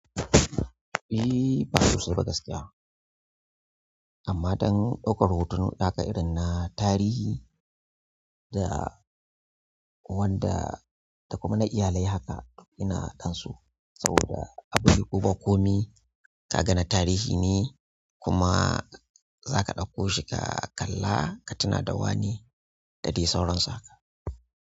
Ehh, ba sosai ba gaskiya. Amma don ɗaukar hoto haka irin na tarihi da wanda da kuma na iyalai haka ina dan so saboda abu ne ko ba komi ka ga na tarihi ne kuma zaka daukoshi ka kalla ka tuna da wane da dai sauransu haka.